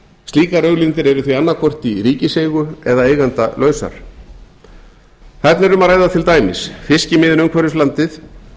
slíkar auðlindir eru því annaðhvort í ríkiseigu eða eigendalausar þarna er um að ræða til dæmis fiskimiðin umhverfis landið